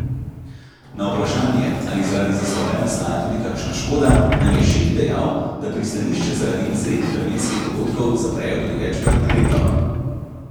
Na vprašanje, ali zaradi zastoja nastaja tudi kakšna škoda, nam je Šik dejal, da pristanišče zaradi izrednih vremenskih dogodkov zaprejo tudi večkrat na leto.